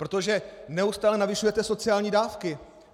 Protože neustále navyšujete sociální dávky.